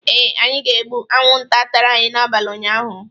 Ee, anyị ga-egbu anwụnta tara anyị n'abalị ụnyaahụ.